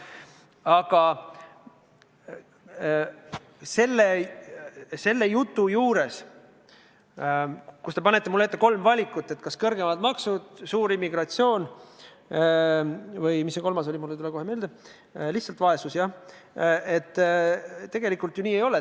Aga rääkides sellest jutust, millega te panete mulle ette kolm valikut: kas kõrgemad maksud, suur immigratsioon või – mis see kolmas oligi, mul ei tule kohe meelde – lihtsalt vaesus, siis tegelikult nii ei ole.